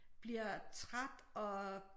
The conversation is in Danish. Bliver træt og